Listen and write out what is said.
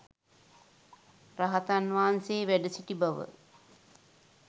රහතන් වහන්සේ වැඩ සිටි බව